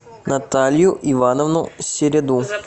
наталью ивановну середу